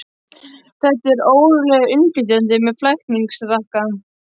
Þetta er ólöglegur innflytjandi með flækingsrakka.